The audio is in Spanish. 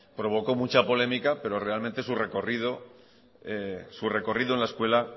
provocó mucha polémica pero realmente su recorrido en la escuela